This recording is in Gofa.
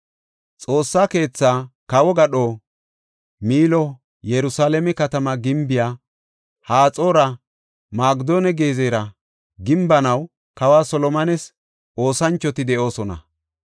Xoossa keethaa, kawo gadho, Miilo, Yerusalaame katama gimbiya, Haxoora, Magidonne Gezera gimbanaw kawa Solomones oosanchoti de7oosona.